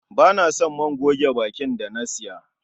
Ba na son man goge bakin da na siya.